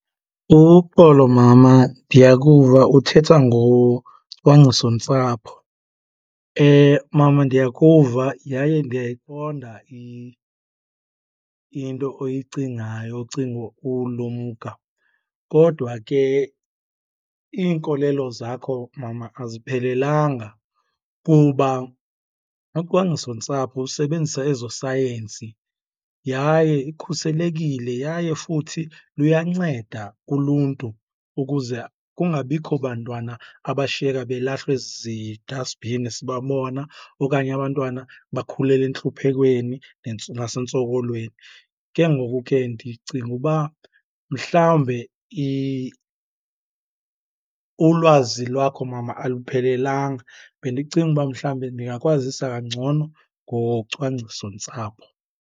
Uxolo, mama ndiyakuva uthetha ngocwangcisontsapho. Mama ndiyakuva yaye ndiyayiqonda into oyicingayo, ucinga ulumka, kodwa ke iinkolelo zakho, mama aziphelelanga kuba ucwangcisontsapho usebenzisa ezosayensi yaye ikhuselekile. Yaye futhi luyanceda kuluntu ukuze kungabikho bantwana abashiyeka belahlwa ezi-dust bin sibabona okanye abantwana bakhulela entluphekweni nasentsokolweni. Ke ngoku ke ndicinga uba mhlawumbe ulwazi lwakho, mama aluphelelanga. Bendicinga uba mhlawumbe ndingakwazisa ngcono ngocwangcisontsapho